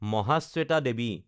Mahasweta Devi